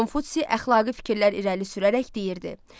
Konfutsi əxlaqi fikirlər irəli sürərək deyirdi: